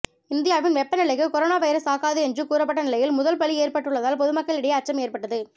இந்தியாவின் வெப்பநிலைக்கு corona virus தாக்காது என்று கூறப்பட்ட நிலையில் முதல் பலி ஏற்பட்டுள்ளதால் பொதுமக்களிடையே அச்சம் ஏற்பட்டது